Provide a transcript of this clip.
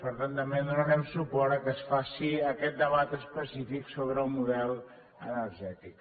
per tant també donarem suport al fet que es faci aquest debat específic sobre el model energètic